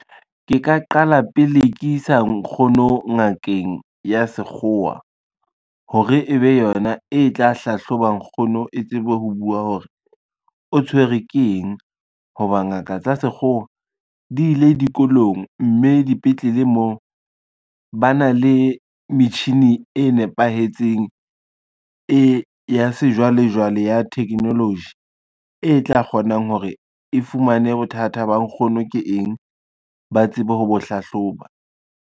Ke ka qala pele ke isa nkgono ngakeng ya sekgowa, hore ebe yona e tla hlahloba nkgono e tsebe ho bua hore o tshwerwe ke eng, ho ba ngaka tsa sekgowa di ile dikolong, mme dipetlele mo ba na le metjhini e nepahetseng e ya sejwalejwale ya technology, e tla kgonang hore e fumane bothata ba nkgono ke eng ba tsebe ho bo hlahloba.